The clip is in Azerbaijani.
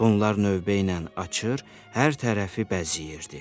Bunlar növbə ilə açır, hər tərəfi bəziyyirdi.